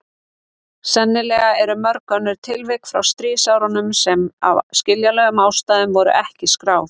Sennilega eru mörg önnur tilvik frá stríðsárunum sem af skiljanlegum ástæðum voru ekki skráð.